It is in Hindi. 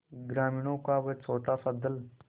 ग्रामीणों का वह छोटासा दल